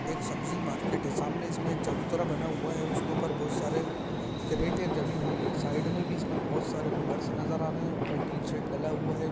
एक सब्जी मार्केट है। सामने इसमे एक चबूतरा बना हुआ है उसके ऊपर बहोत सारे कैरेटे जमी हुई है ।साइड मैं भी इसके बोहोत सारे पिलर्स ( नजर आ रहे है। ऊपर टीन शैड डला हुआ है।